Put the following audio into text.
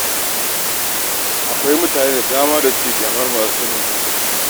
Akwai mutane da dama da suke ƙyamar masu matsalar taɓin hankali.